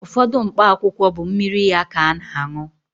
Ụfọdụ mkpa akwụkwọ bụ mmiri ya ka ana-añụ.